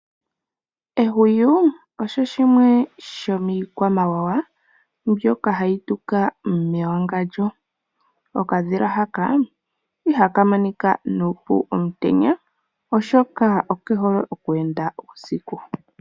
Ehwiyu osho shimwe shomi kwamawawa mbyoka hayi tuka mewagandjo , okadhila haka ihaka monika nuupu omutenya oshoka okehole oku enda uusiku.